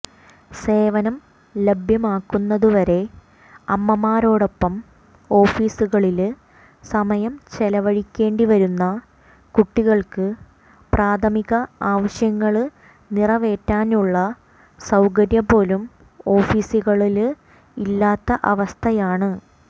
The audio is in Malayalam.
സേവനം ലഭ്യമാകുന്നതുവരെ അമ്മമാരോടൊപ്പം ഓഫിസുകളില് സമയം ചെലവഴിക്കേണ്ടിവരുന്ന കുട്ടികള്ക്ക് പ്രാഥമിക ആവശ്യങ്ങള് നിറവേറ്റാനുള്ള സൌകര്യംപോലും ഓഫിസുകളില് ഇല്ലാത്ത അവസ്ഥയാണ്